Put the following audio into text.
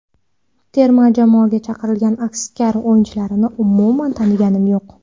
Terma jamoaga chaqirilgan aksar o‘yinchilarni umuman taniganim yo‘q.